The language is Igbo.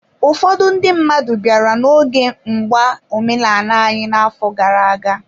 Ụfọdụ ndị mmadụ bịara n'oge mgba omenala anyị n'afọ gara aga